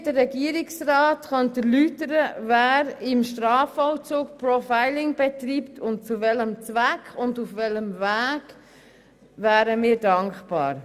Wir wären dankbar, wenn uns der Regierungsrat erläutern könnte, wer im Strafvollzug zu welchem Zweck und auf welchem Weg Profiling betreibt.